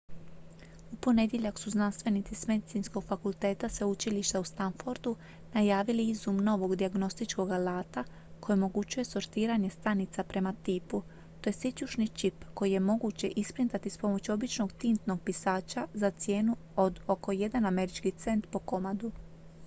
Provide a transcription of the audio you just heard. u ponedjeljak su znanstvenici s medicinskog fakulteta sveučilišta u stanfordu najavili izum novog dijagnostičkog alata koji omogućuje sortiranje stanica prema tipu to je sićušni čip koji je moguće isprintati s pomoću običnog tintnog pisača za cijenu od oko jedan američki cent po komadu